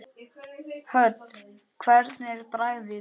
Hödd: Hvernig er bragðið?